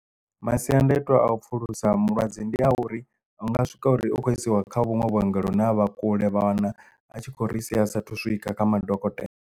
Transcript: Masiandaitwa a u pfulusa mulwadze ndi a uri hu nga swika uri u khou isiwa kha vhunwe vhuongelo vhune ha vha kule vha wana a tshi khou ri sia a sathu swika kha madokotela.